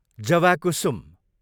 जवाकुसुम